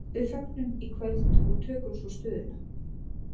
Við fögnum í kvöld og tökum svo stöðuna.